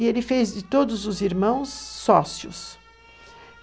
E ele fez de todos os irmãos sócios.